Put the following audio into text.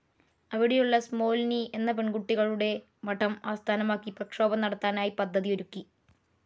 അവിടെയുള്ള സ്മോൽനി എന്ന പെൺ കുട്ടികളുടെ മഠം ആസ്ഥാനമാക്കി പ്രക്ഷോഭം നടത്താനായി പദ്ധതി ഒരുക്കി.